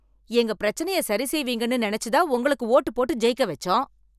எங்க பிரச்சனையை சரி செய்வீங்கன்னு நினைச்சு தான் உங்களுக்கு ஓட்டு போட்டு ஜெயிக்க வெச்சோம்